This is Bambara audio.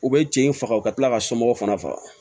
U bɛ cɛ in faga u ka tila ka somɔgɔw fana faga